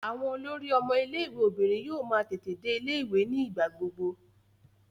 Àwọn olórí àwọn ọmọ ilé-ìwé obìnrin yóò máa tètè dé ilé-ìwé ní ìgbà gbogbo.